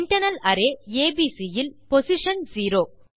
internal array ABCஇல் position zero